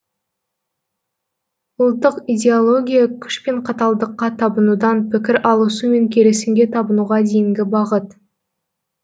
ұлттық идеология күш пен қаталдыққа табынудан пікір алысу мен келісімге табынуға дейінгі бағыт